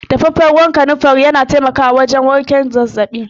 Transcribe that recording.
Daffafen ruwa na kanunfari na taimako wajen warken zazzabi.